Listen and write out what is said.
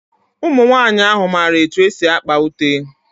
Ụmụnwaanyị ahụ mara etu esi akpa ute.